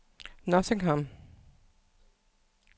Nottingham